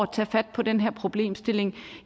tage fat på den her problemstilling